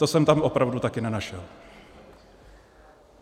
To jsem tam opravdu také nenašel.